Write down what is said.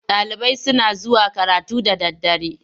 Ɗalibai suna zuwa karatu da daddare.